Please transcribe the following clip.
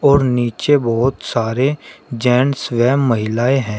और नीचे बहोत सारे जेंट्स व महिलाएं हैं।